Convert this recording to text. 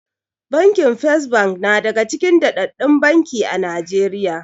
Bankin First na daga cikin daddaɗɗun banki a Najeriya.